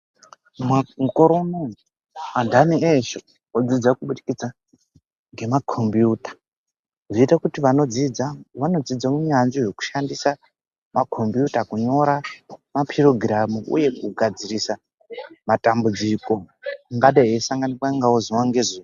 Maa mukore unowu antani eshe odzidza kubudikidza ngemakombiyuta zvoite kuti vanodzidza vanodzidze unyanzvi hwekushandisa makombiyuta kunyora mapirogiramu uye kugadzirisa matambudziko angadai eisanganikwa nawo zuwa ngezuwa.